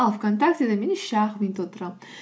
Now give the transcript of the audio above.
ал вконтактеде мен үш ақ минут отырамын